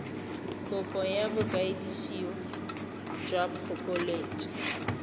kopo ya boikwadiso jwa phokoletso